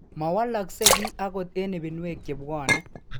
Mowoloksei kii agot eng' ibinwek chebwone.